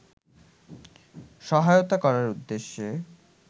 সহায়তা করার উদ্দেশ্যে